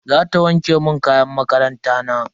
Zata wanke mun kayan makaranta na.